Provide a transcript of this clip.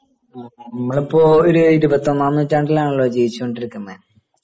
നമ്മളിപ്പോ ഇരുപത്തിയൊന്നാം നൂറ്റാണ്ടിലാണല്ലോ ജീവിച്ചോണ്ടിരിക്കുന്നേ